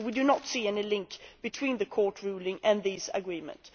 We do not see any link between the Court ruling and these agreements.